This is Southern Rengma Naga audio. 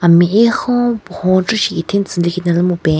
Mehekhon pohon tsü lekhinala mupen.